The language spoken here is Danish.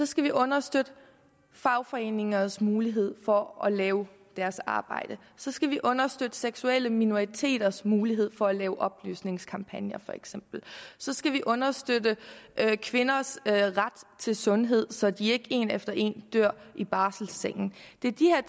skal vi understøtte fagforeningers mulighed for at lave deres arbejde så skal vi understøtte seksuelle minoriteters mulighed for at lave oplysningskampagner så skal vi understøtte kvinders ret til sundhed så de ikke en efter en dør i barselsengen det er de